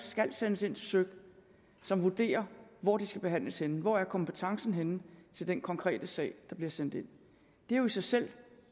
skal sendes ind til søik som vurderer hvor de skal behandles henne hvor er kompetencen henne til den konkrete sag der bliver sendt ind det er jo i sig selv